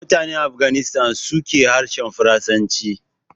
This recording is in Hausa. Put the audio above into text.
Mutanen Afghanistan su ke harshen Farasanci